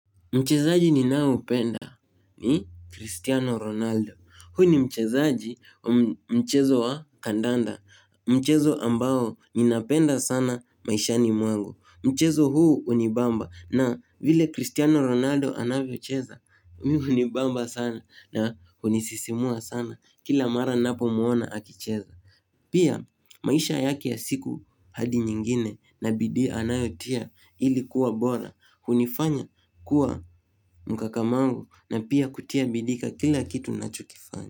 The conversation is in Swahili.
Mchezaji ninayependa ni Cristiano Ronaldo. Huyu ni mchezaji wa mchezo wa kandanda. Mchezo ambao ninapenda sana maishani mwangu Mchezo huu hunibamba na vile Cristiano Ronaldo anavyocheza. Mimi hunibamba sana na hunisisimua sana kila mara ninapomwona akicheza. Pia maisha yake ya siku hadi nyingine na bidii anayotia ilikuwa bora. Hunifanya kuwa mkakamavu na pia kutia bidii katika kila kitu nachokifanya.